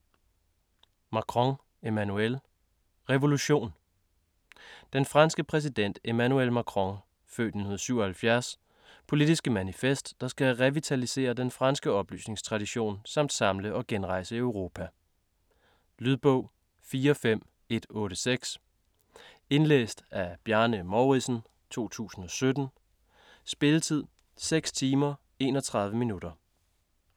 Macron, Emmanuel: Revolution Den franske præsident Emmanuel Macrons (f. 1977) politiske manifest, der skal revitalisere den franske oplysningstradition samt samle og genrejse Europa. Lydbog 45186 Indlæst af Bjarne Mouridsen, 2017. Spilletid: 6 timer, 31 minutter.